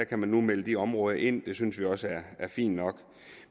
kan man nu melde de områder ind og det synes vi også er fint nok